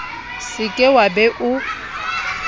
se ke wa be o